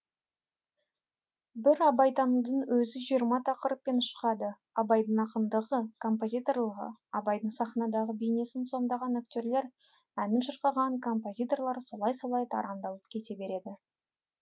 бір абайтанудың өзі жиырма тақырыппен шығады абайдың ақындығы композиторлығы абайдың сахнадағы бейнесін сомдаған актерлар әнін шырқаған композиторлар солай солай тарамдалып кете береді